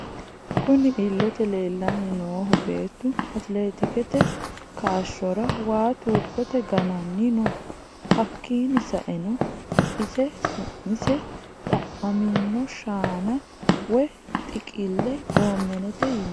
Kunni illete leelani noohu beettu atikilitete kaashshorra waa tuubbote ga'nanni no. Hakiino sa'eena ise su'mse xaaxamino shaana woyi xiqile goomenete yinnanni